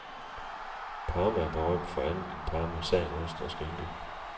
Parma er berømt for andet end parmesanost og skinke.